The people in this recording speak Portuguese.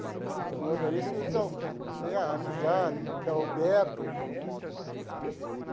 Os motoristas têm amizade, que é o Beto.